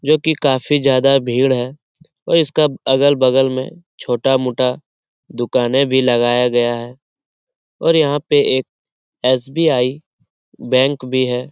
जो की काफी ज्यादा भीड़ है और इसका अगल-बगल में छोटा-मोटा दुकानें भी लगाया गया है और यहाँ पर एक एस.बी.आई. बैंक भी है।